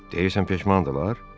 Deyirsiniz peşmandırlar?